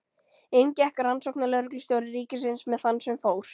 Inn gekk rannsóknarlögreglustjóri ríkisins með þann sem fór.